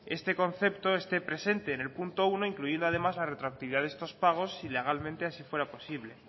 este concepto esté presente en el punto uno incluida además la retroactividad de estos pagos si legalmente así fuera posible